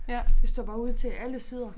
Ja det står bare ud til alle sider